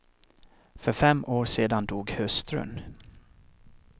För fem år sedan dog hustrun.